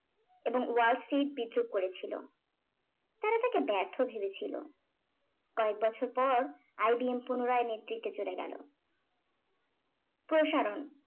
এবং wall street বিদ্রুপ করেছিল তারা তাকে ব্যর্থ ভেবেছিলো কয়েকবছর পর IBM পুনরায় নেতৃত্বে চলে গেলো প্রসারণ